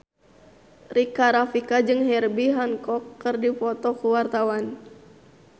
Rika Rafika jeung Herbie Hancock keur dipoto ku wartawan